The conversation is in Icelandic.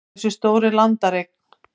hversu stór er landareign